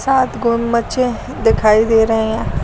सात गुमछे दिखाई दे रही हैं।